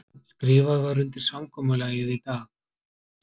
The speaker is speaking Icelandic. Skrifað var undir samkomulagið í dag